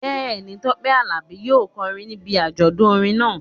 Bẹ́ẹ̀ ni, Tọ́pẹ́ Àlàbí yóò kọrin níbi àjọdún orin náà